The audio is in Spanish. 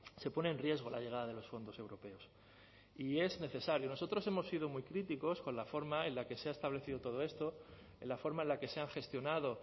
se pone en riesgo la llegada de los fondos europeos y es necesario nosotros hemos sido muy críticos con la forma en la que se ha establecido todo esto en la forma en la que se han gestionado